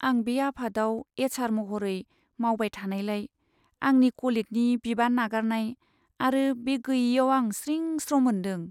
आं बे आफादआव एच.आर. महरै मावबाय थानायलाय आंनि क'लिगनि बिबान नागारनाय आरो बे गैयैयाव आं स्रिं स्र' मोन्दों।